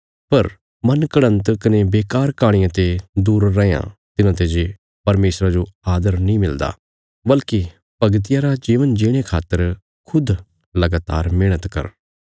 पर मन घड़न्त कने बेकार कहाणियां ते दूर रैयां तिन्हांते जे परमेशरा जो आदर नीं मिलदा बल्कि भगतिया रा जीवन जीणे खातर खुद लगातार मेहणत कर